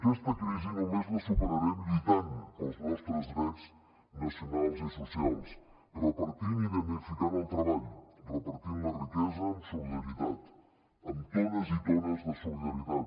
aquesta crisi només la superarem lluitant pels nostres drets nacionals i socials repartint i dignificant el treball repartint la riquesa amb solidaritat amb tones i tones de solidaritat